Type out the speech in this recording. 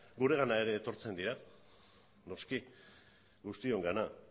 guregana ere etortzen dira noski guztiongana